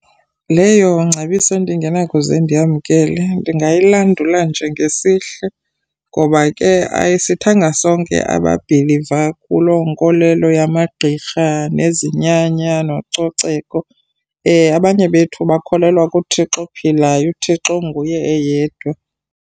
Leyo ngcebiso endingenakuze ndiyamkele, ndingayilandula nje ngesihle ngoba ke ayisithanga sonke ababhiliva kuloo nkolelo yamagqirha nezinyanya nococeko. Abanye bethu bakholelwa kuThixo ophilayo, uThixo onguye eyedwa.